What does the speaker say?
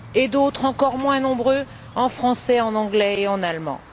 D'autres, encore moins nombreux, en français, en anglais et en allemand.